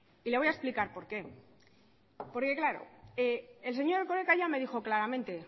y le voy a explicar por qué porque claro el señor erkoreka ya me dijo claramente